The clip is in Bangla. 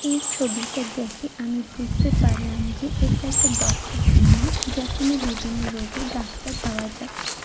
এই ছবিটা দেখে আমি বুঝতে পারলাম যে এটা একটা ডক্টর ক্লিনিক যেখানে বিভিন্ন রোগের ডাক্তার পাওয়া যায়।